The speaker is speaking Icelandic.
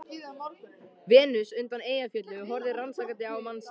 Venus undan Eyjafjöllum horfði rannsakandi á mann sinn.